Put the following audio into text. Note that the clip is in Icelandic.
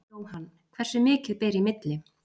Jóhann: Hversu mikið ber í milli?